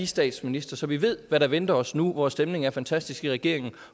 statsminister så vi ved hvad der venter os nu hvor stemningen er fantastisk i regeringen